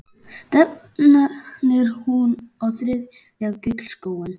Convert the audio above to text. Stefnir hún á þriðja gullskóinn?